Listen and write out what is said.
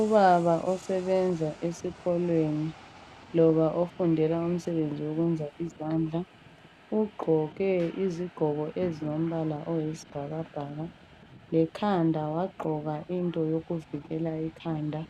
Ubaba osebenza esikolweni loba ofundela umsebenzi wokwenza izandla ugqoke izigqoko ezilombala oyisibhakabhaka lekhanda wagqoka into yokuvikela ikhanda